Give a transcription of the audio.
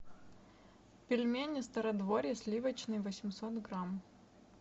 пельмени стародворье сливочные восемьсот грамм